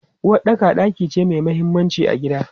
Uwaɗɗaka ɗaki ce mai mahimmanci a gida.